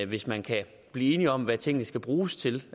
hvis man kan blive enige om hvad tingene skal bruges til